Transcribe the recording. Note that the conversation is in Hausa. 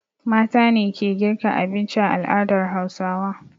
Mata ne ke girka abinci a al'adar Hausawa.